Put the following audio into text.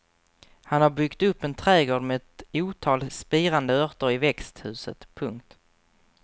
Han har byggt upp en trädgård med ett otal spirande örter i växthuset. punkt